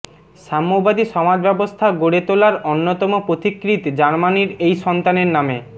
সাম্যবাদী সমাজব্যবস্থা গড়ে তোলার অন্যতম পথিকৃৎ জার্মানির এই সন্তানের নামে